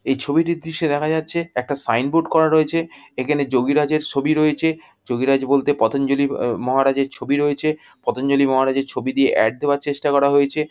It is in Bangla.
এই ছবিটির দৃশ্যে দেখা যাচ্ছে একটা সাইনবোর্ড করা রয়েছে। এইখানে যোগিরাজের ছবি রয়েছে। যোগিরাজ বলতে পতঞ্জলি মহারাজের ছবি রয়েছে। পতঞ্জলি মহারাজের ছবি দিয়ে এড দেয়ার চেষ্টা করা হয়েছে।